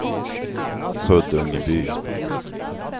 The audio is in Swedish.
Huddungeby